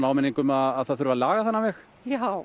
áminning um að það þurfi að laga þennan veg já